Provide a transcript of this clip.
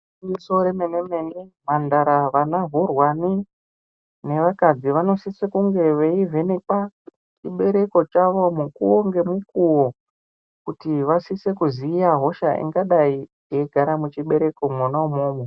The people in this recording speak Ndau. Gwinyiso remene-mene, mhandara vana hurwani nevakadzi, vanosise kunge veivhenekwa chibereko chavo mukuwo ngemukuwo, kuti vasise kuziya hosha ingadai yeigara muchibereko mwona imwomwo.